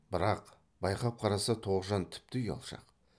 бірақ байқап қараса тоғжан тіпті ұялшақ